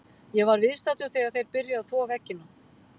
Ég var viðstaddur þegar þeir byrjuðu að þvo veggina.